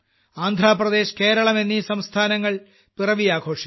ആന്ധ്രാപ്രദേശ് കേരളം എന്നീ സംസ്ഥാനങ്ങൾ പിറവി ആഘോഷിക്കും